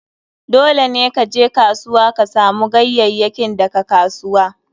Dole ne ka je kasuwa ka samu ganyayyakin daga kasuwa.